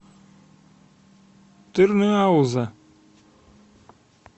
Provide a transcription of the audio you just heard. тырныауза